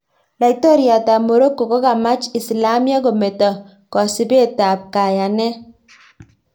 Laitoryat ab Morocco kokamach Islamiek kometo kosibet ab kayanet